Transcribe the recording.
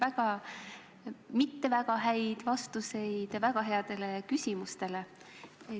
Ma kuulasin teie mitte väga häid vastuseid väga headele küsimustele.